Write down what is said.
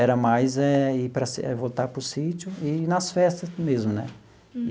Era mais eh ir para si voltar para o sítio e ir nas festas mesmo né.